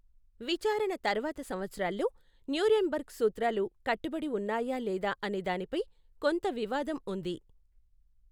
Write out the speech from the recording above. విచారణ తర్వాత సంవత్సరాల్లో న్యూరేమ్బెర్గ్ సూత్రాలు కట్టుబడి ఉన్నాయా లేదా అనే దానిపై కొంత వివాదం ఉంది.